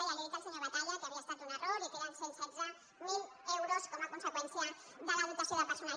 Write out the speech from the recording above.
ja he dit al senyor batalla que havia estat un error i que eren cent i setze mil euros com a conseqüència de la dotació de personal